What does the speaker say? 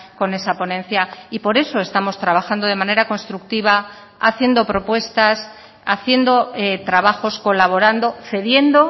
con esa ponencia y por eso estamos trabajando de manera constructiva haciendo propuestas haciendo trabajos colaborando cediendo